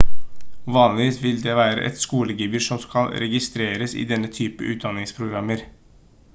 vanligvis vil det være et skolegebyr som skal registreres i denne typen utdanningsprogrammer